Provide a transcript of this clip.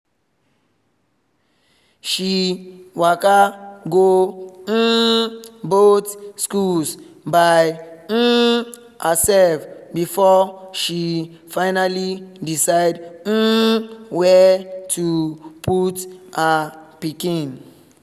she waka go um both schools by um herself before she finally decide um where to put her pikin